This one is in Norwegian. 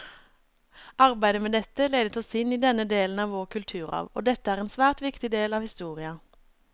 Arbeidet med dette ledet oss inn på denne delen av vår kulturarv, og dette er en svært viktig del av historia.